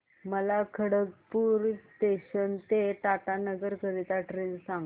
मला खडगपुर जंक्शन ते टाटानगर करीता ट्रेन सांगा